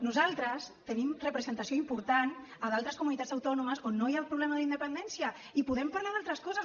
nosaltres tenim representació important a d’altres comunitats autònomes on no hi ha el problema de la independència i podem parlar d’altres coses